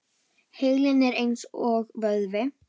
Heilinn er eins og vöðvi.